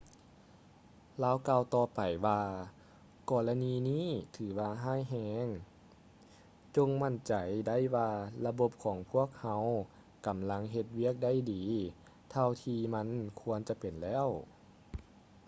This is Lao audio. ລາວກ່າວຕໍ່ໄປວ່າ ກໍລະນີນີ້ຖືວ່າຮ້າຍແຮງ ຈົ່ງໝັ້ນໃຈໄດ້ວ່າລະບົບຂອງພວກເຮົາ ກຳລັງເຮັດວຽກໄດ້ດີເທົ່າທີ່ມັນຄວນຈະເປັນແລ້ວ